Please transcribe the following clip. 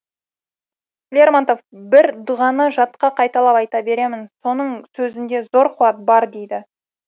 лермонтов бір дұғаны жатқа қайталап айта беремін соның сөзінде зор қуат бар дейді